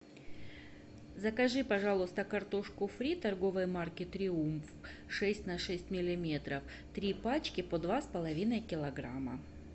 закажи пожалуйста картошку фри торговой марки триумф шесть на шесть миллиметров три пачки по два с половиной килограмма